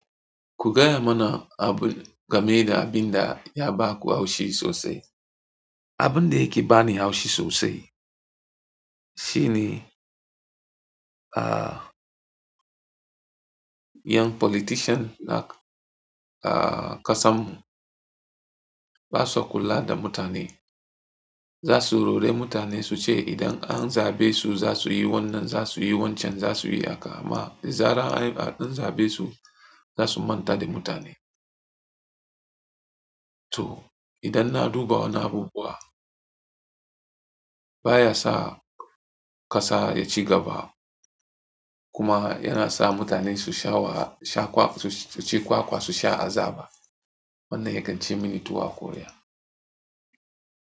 Kugai mana abu, game da abin da ya baku haushi sosai. Abun da yake bani haushi sosai shine, ahh. Ƴan politian na ƙasamu basa kula da mutane. Zasu rore mutane suce idan an zaɓe su zasuyi wannan, zasuyi wancan, zasuyi haka amma da zarar an yi ɗan zaɓe su, zasumanta da mutane. To idan na duba wanna abubuwa baya sa ƙasa ya ci gaba kuma yana sa mutane su sha wa, sha kwakwa, su ci kwakwa su sha azaba. Wannan ya kanci mini tuwo a ƙwarya.